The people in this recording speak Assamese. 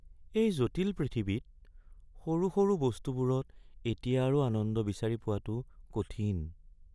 এই জটিল পৃথিৱীত সৰু সৰু বস্তুবোৰত এতিয়া আৰু আনন্দ বিচাৰি পোৱাটো কঠিন।